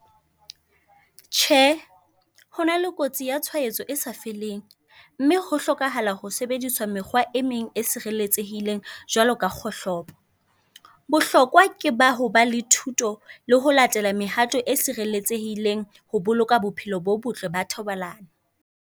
Tjhe hona le kotsi yatshwaetso e sa feleng mme ho hlokahala ho sebedisa mekgwa e meng e jwalo ka kgohlopo. Bohlokwa ke ba hoba le thuto le ho latele mehato e sereletsehileng ho boloka bophelo bo botle ba thobalano.